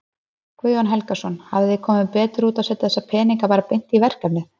Guðjón Helgason: Hefði komið betur út að setja þessa peninga bara beint í verkefnið?